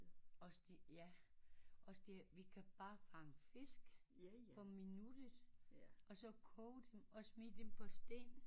Også det ja også det det vi kan bare fange fisk på minuttet og så koge dem og smide på sten